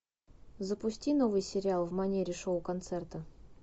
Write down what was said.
запусти новый сериал в манере шоу концерта